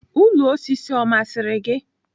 Ụlọ osisi ọ masịrị gị?